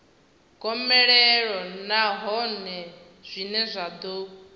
gomelelo nahone zwine zwa ḓo